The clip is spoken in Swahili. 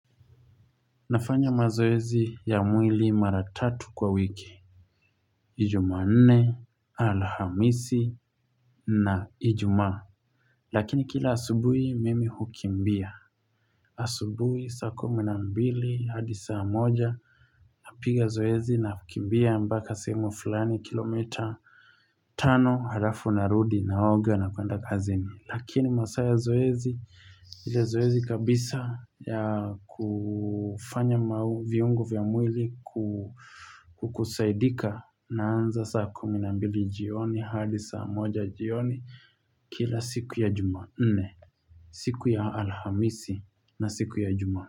Nafanya mazoezi ya mwili mara tatu kwa wiki ni jumanne alhamisi na ijumaa lakini kila asubuhi mimi hukimbia asubuhi saa kumi na mbili hadi saa moja napiga zoezi na kukimbia mpaka sehemu fulani kilomita tano alafu narudi naoga na kuenda kazini lakini masaa ya zoezi ile zoezi kabisa ya kufanya maviungo vya mwili kukusaidika Naanza saa kumi na mbili jioni hadi saa moja jioni kila siku ya jumanne siku ya alhamisi na siku ya ijumaa.